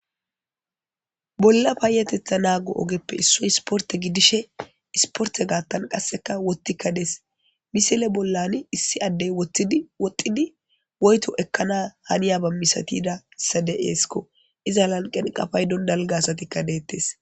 Bolla payatetha nago ogeppe issayi isiporte gidishe isiportetan qaseka wothika des missile bollan isi addey woxidi woyto ekkana haniyaba misatiyadaysa de'esko iza lanqenka paydon dalga asati detes